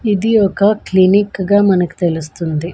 ఇది ఒక క్లినిక్ గా మనకు తెలుస్తుంది.